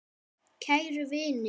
Kæru vinir!